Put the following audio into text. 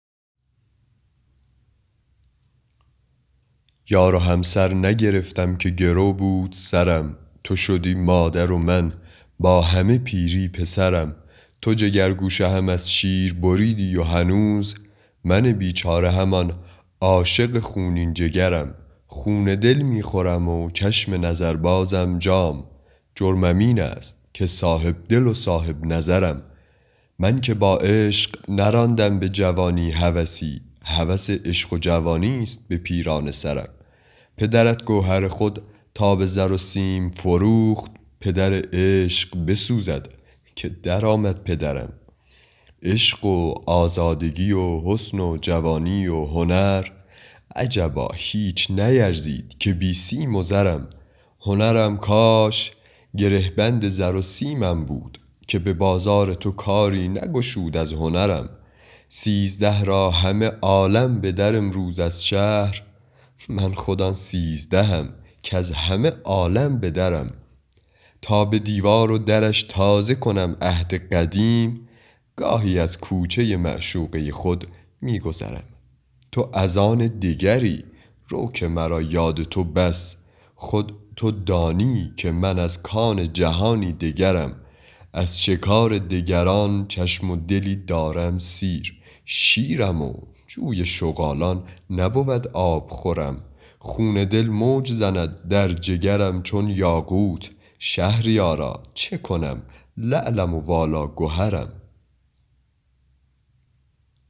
یار و همسر نگرفتم که گرو بود سرم تو شدی مادر و من با همه پیری پسرم تو جگرگوشه هم از شیر بریدی و هنوز من بیچاره همان عاشق خونین جگرم خون دل می خورم و چشم نظر بازم جام جرمم این است که صاحب دل و صاحب نظرم من که با عشق نراندم به جوانی هوسی هوس عشق و جوانیست به پیرانه سرم پدرت گوهر خود را به زر و سیم فروخت پدر عشق بسوزد که در آمد پدرم عشق و آزادگی و حسن و جوانی و هنر عجبا هیچ نیرزید که بی سیم و زرم هنرم کاش گره بند زر و سیمم بود که به بازار تو کاری نگشود از هنرم سیزده را همه عالم به در آیند از شهر من خود آن سیزدهم کز همه عالم به درم تا به دیوار و درش تازه کنم عهد قدیم گاهی از کوچه معشوقه خود می گذرم تو از آن دگری رو که مرا یاد تو بس خود تو دانی که من از کان جهانی دگرم از شکار دگران چشم و دلی دارم سیر شیرم و جوی شغالان نبود آبخورم خون دل موج زند در جگرم چون یاقوت شهریارا چه کنم لعلم و والا گهرم